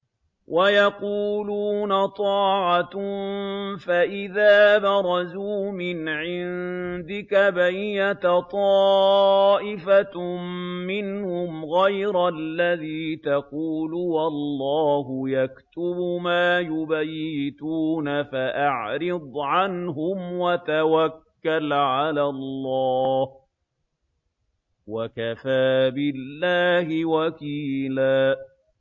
وَيَقُولُونَ طَاعَةٌ فَإِذَا بَرَزُوا مِنْ عِندِكَ بَيَّتَ طَائِفَةٌ مِّنْهُمْ غَيْرَ الَّذِي تَقُولُ ۖ وَاللَّهُ يَكْتُبُ مَا يُبَيِّتُونَ ۖ فَأَعْرِضْ عَنْهُمْ وَتَوَكَّلْ عَلَى اللَّهِ ۚ وَكَفَىٰ بِاللَّهِ وَكِيلًا